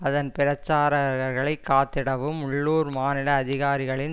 அதன் பிரச்சாரகர்களை காத்திடவும் உள்ளூர் மாநில அதிகாரிகளின்